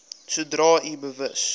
sodra u bewus